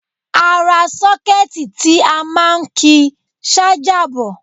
Ara sọ́kẹ́ẹ̀tì ti a máa ń ki ṣájà bọ̀